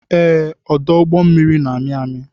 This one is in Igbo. Ee, ọdụ ụgbọ mmiri na-amị amị.